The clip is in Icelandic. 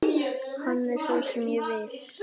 Hann er sá sem ég vil.